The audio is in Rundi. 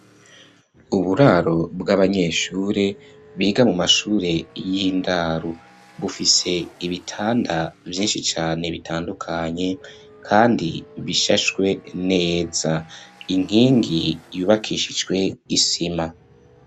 Uburaro bw'abanyeshure, biga mu mashure y'indaro; bufise ibitanda, vyinshi cane, bitandukanye, kandi bishashwe neza; inkingi, yubakishijwe isima.